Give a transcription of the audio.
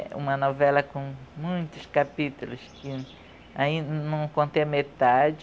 É uma novela com muitos capítulos que ainda não contei a metade,